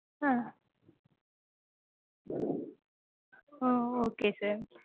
Ah oh okay sir.